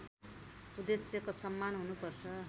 उद्देश्यको सम्मान हुनुपर्छ